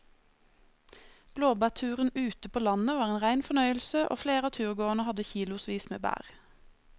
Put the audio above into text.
Blåbærturen ute på landet var en rein fornøyelse og flere av turgåerene hadde kilosvis med bær.